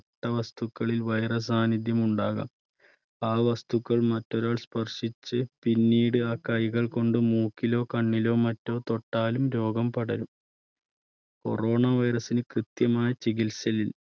ട്ട വസ്തുക്കളിൽ virus സാന്നിധ്യം ഉണ്ടാകാം ആ വസ്തുക്കൾ മറ്റൊരാൾ സ്പർശിച്ച് പിന്നീട് ആ കൈകൾ കൊണ്ട് മൂക്കിലോ കണ്ണിലോ മറ്റോ തൊട്ടാലും രോഗം പടരും. corona virus ന് കൃത്യമായ ചികിത്സ